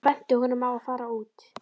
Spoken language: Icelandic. Hún benti honum á að fara út.